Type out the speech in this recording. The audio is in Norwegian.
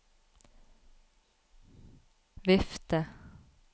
vifte